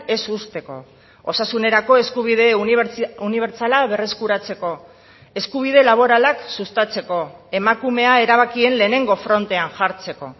ez uzteko osasunerako eskubide unibertsala berreskuratzeko eskubide laboralak sustatzeko emakumea erabakien lehenengo frontean jartzeko